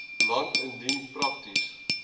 land indien prakties